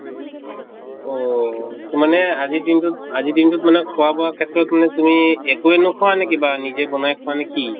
অʼ । মানে আজি দিনটোত, আজি দিনটোত মানে খোৱা বোৱা ক্ষেত্ৰত মানে তুমি একোয়ে নখোৱা নে কিবা নিজে বনাই খোৱা নে কি?